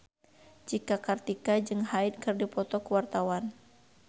Cika Kartika jeung Hyde keur dipoto ku wartawan